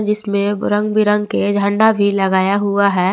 इसमें रंग बिरंग के झंडा भी लगाया हुआ है।